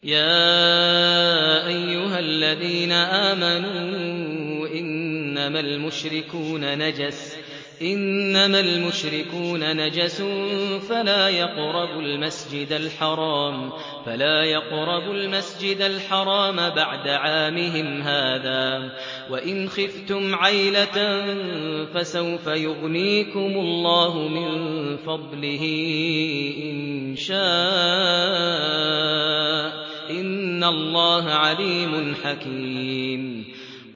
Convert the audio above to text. يَا أَيُّهَا الَّذِينَ آمَنُوا إِنَّمَا الْمُشْرِكُونَ نَجَسٌ فَلَا يَقْرَبُوا الْمَسْجِدَ الْحَرَامَ بَعْدَ عَامِهِمْ هَٰذَا ۚ وَإِنْ خِفْتُمْ عَيْلَةً فَسَوْفَ يُغْنِيكُمُ اللَّهُ مِن فَضْلِهِ إِن شَاءَ ۚ إِنَّ اللَّهَ عَلِيمٌ حَكِيمٌ